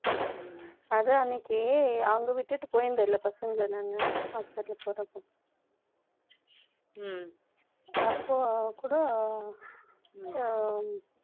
ம்ம். ம்ம். அது அன்னைக்கு, அங்க விட்டுட்டு போயிருந்த இல்லை, பசங்களை நானு Hospital க்கு போறப்போ ம், அப்போ கூட, ம்,